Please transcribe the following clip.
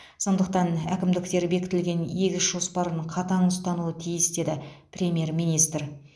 сондықтан әкімдіктер бекітілген егіс жоспарын қатаң ұстануы тиіс деді премьер министр